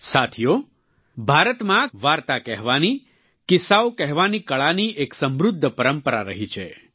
સાથીઓ ભારતમાં વાર્તા કહેવાની કિસ્સાઓ કહેવાની કળાની એક સમૃદ્ધ પરંપરા રહી છે